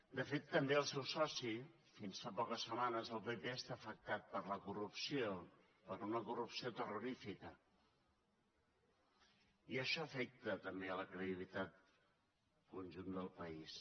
de fet també el seu soci fins fa poques setmanes el pp està afectat per la corrupció per una corrupció terrorífica i això afecta també la credibilitat al conjunt del país